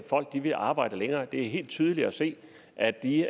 folk til at arbejde længere det er helt tydeligt at se at de